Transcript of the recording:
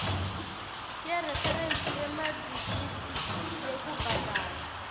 yereferensi yemadigithi yekubhadala